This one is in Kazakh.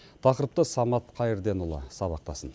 тақырыпты самат қайырденұлы сабақтасын